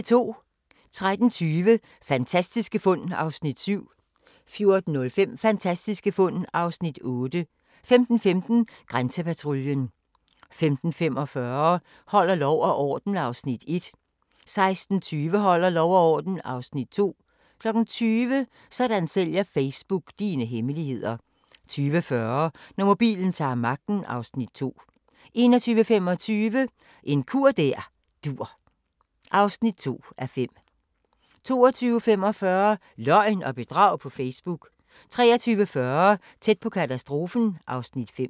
13:20: Fantastiske fund (Afs. 7) 14:05: Fantastiske fund (Afs. 8) 15:15: Grænsepatruljen 15:45: Holder lov og orden (Afs. 1) 16:20: Holder lov og orden (Afs. 2) 20:00: Sådan sælger Facebook dine hemmeligheder 20:40: Når mobilen ta'r magten (Afs. 2) 21:25: En kur der dur (2:5) 22:45: Løgn og bedrag på Facebook 23:40: Tæt på katastrofen (Afs. 5)